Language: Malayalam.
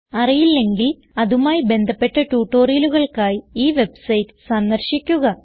അറിയില്ലെങ്കിൽ അതുമായി ബന്ധപ്പെട്ട ട്യൂട്ടോറിയലുകൾക്കായി ഈ വെബ്സൈറ്റ് സന്ദർശിക്കുക